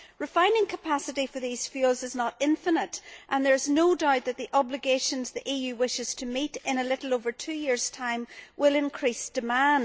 Refining capacity for these fuels is not infinite and there is no doubt that the obligations the EU wishes to meet in a little over two years time will increase demand.